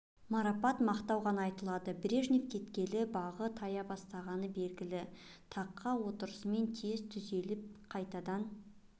марапат мақтау ғана айтылады брежнев кеткелі бағы тая бастағаны белгілі таққа отырысымен тез түзеліп қайтадан